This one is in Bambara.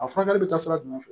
A furakɛli bɛ taa sira jumɛn fɛ